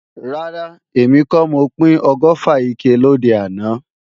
Rárá, èmi kọ́ mo pín ọgọ́fà ike lòde àná